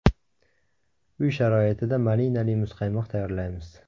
Uy sharoitida malinali muzqaymoq tayyorlaymiz.